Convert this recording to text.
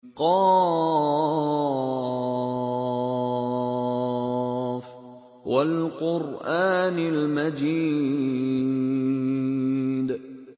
ق ۚ وَالْقُرْآنِ الْمَجِيدِ